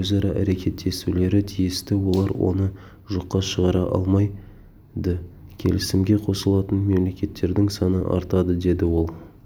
өзара әрекеттесулері тиісті олар оны жоққа шығара алмайды келісімге қосылатын мемлекеттердің саны артады деді ол